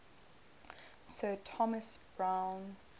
sir thomas browne